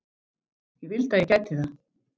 Ég vildi að ég gæti það.